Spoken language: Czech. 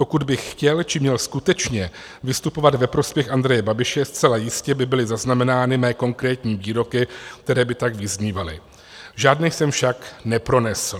Pokud bych chtěl či měl skutečně vystupovat ve prospěch Andreje Babiše, zcela jistě by byly zaznamenány mé konkrétní výroky, které by tak vyznívaly, žádné jsem však nepronesl.